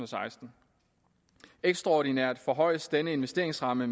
seksten ekstraordinært forhøjes denne investeringsramme